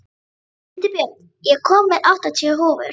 Hildibjörg, ég kom með áttatíu húfur!